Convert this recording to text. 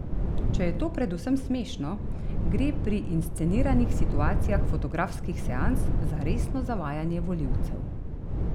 Če je to predvsem smešno, gre pri insceniranih situacijah fotografskih seans za resno zavajanje volivcev.